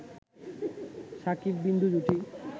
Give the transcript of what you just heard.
শাকিব-বিন্দু জুটি